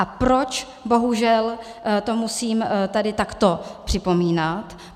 A proč to bohužel musím tady takto připomínat?